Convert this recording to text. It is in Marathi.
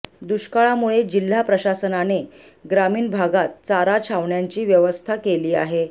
दुष्काळामुळे जिल्हा प्रशासनाने ग्रामीण भागात चारा छावण्यांची व्यवस्था केली आहे